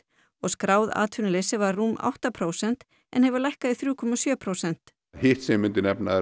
og skráð atvinnuleysi var rúm átta prósent en hefur lækkað í þrjú komma sjö prósent hitt sem ég myndi nefna